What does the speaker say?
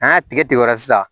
N'an y'a tigɛ tigɛ o la sisan